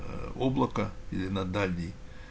облако или на дальний